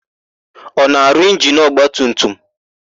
Ọ na-arụ injinu ọgbatumtum?